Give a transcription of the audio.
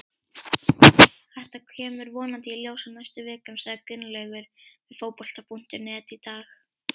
Þetta kemur vonandi í ljós á næstu vikum, sagði Gunnlaugur við Fótbolta.net í dag.